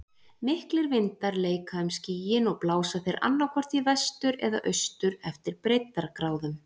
Miklir vindar leika um skýin og blása þeir annaðhvort í vestur eða austur eftir breiddargráðum.